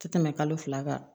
Tɛ tɛmɛ kalo fila kan